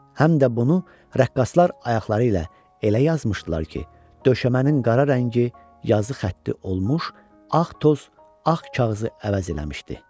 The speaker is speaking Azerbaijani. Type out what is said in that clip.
Həm də bunu rəqqaslar ayaqları ilə elə yazmışdılar ki, döşəmənin qara rəngi yazı xətti olmuş, ağ toz ağ kağızı əvəz eləmişdi.